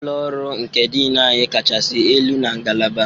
Ụlọ ọrụ nke Dean anyị kachasị elu na ngalaba